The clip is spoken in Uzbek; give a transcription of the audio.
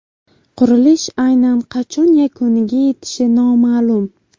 Qurilish aynan qachon yakuniga yetishi noma’lum.